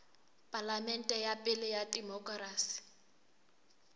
palamente ya pele ya demokerasi